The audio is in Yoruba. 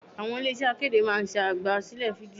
Àwọn ilé iṣẹ́ akéde máa ń ṣe àgbà sílẹ̀ fídíò.